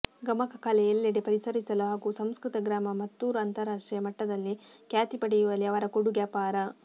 ಗಮಕ ಕಲೆ ಎಲ್ಲೆಡೆ ಪಸರಿಸಲು ಹಾಗೂ ಸಂಸ್ಕೃತ ಗ್ರಾಮ ಮತ್ತೂರು ಅಂತರರಾಷ್ಟ್ರೀಯ ಮಟ್ಟದಲ್ಲಿ ಖ್ಯಾತಿ ಪಡೆಯುವಲ್ಲಿ ಅವರ ಕೂಡುಗೆ ಅಪಾರ